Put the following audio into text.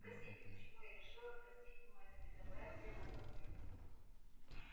спросите почему я решила простить ему это безобразие на компьютере